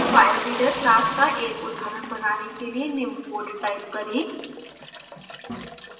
filereader class का एक उदाहरण बनाने के लिए निम्न code type करें